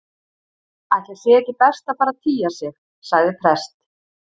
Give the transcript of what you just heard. Ætli sé ekki best að fara að tygja sig- sagði prest